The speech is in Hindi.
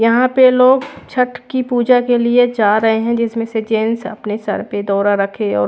यहाँ पे लोग छट की पूजा के लिए जा रहे है जिसमे से जेन्स अपने सर पे दौरा रखे और--